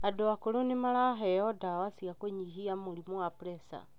Andũ akũrũ nĩmaraheo ndawa cia kũnyihia mũrimũ wa pressure.